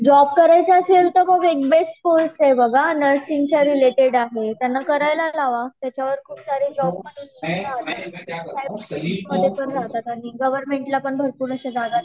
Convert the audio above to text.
Job करायचा असेल तर बघा एक बेस्ट कोर्स आहे नर्सिंग च्या रिलेटेड आहे.त्यांना करायला लावा. त्याच्यावर खूप सार जॉब आहे. आणि गवर्नमेंट ला पण भरपूर असे जागा निघतात.